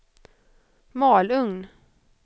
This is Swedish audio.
Malung